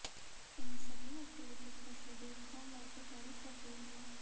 इन सभी एक्टिविटीज का शेड्यूल सोमवार को जारी कर दिया गया